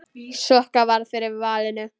Sokka varð fyrir valinu.